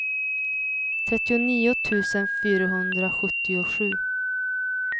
trettionio tusen fyrahundrasjuttiosju